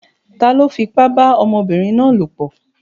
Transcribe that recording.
Ta ló fipá bá ọmọbìnrin náà lopọ̀?